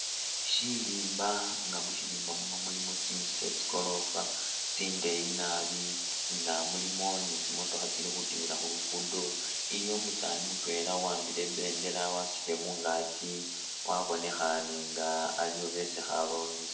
Syilimba nga mu syilimba muno mulimu tsinzu tsye tsigorofa tsindeeyi nabi nga mulimo ni tsimotokha tsili khutimila khu luguudo. Iliwo umusaani mutwela uwambile i'bendela wasutile mungaaki wabonekhane ali ni besi kharongesa.